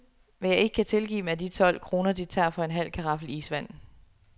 Hvad jeg ikke kan tilgive dem er de tolv kroner de tager for en halv karaffel isvand.